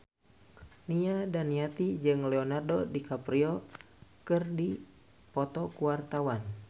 Nia Daniati jeung Leonardo DiCaprio keur dipoto ku wartawan